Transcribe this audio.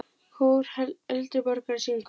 Kór eldri borgara syngur.